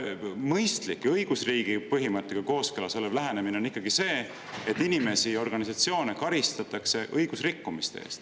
Mõistlik ja õigusriigi põhimõttega kooskõlas olev lähenemine on ikkagi see, et inimesi ja organisatsioone karistatakse õigusrikkumiste eest.